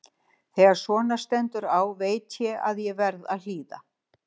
Þegar svona stendur á veit ég að ég verð að hlýða.